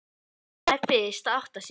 Mamma er fyrst að átta sig